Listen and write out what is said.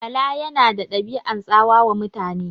Bala yana da ɗabi'an tsawa wa mutane.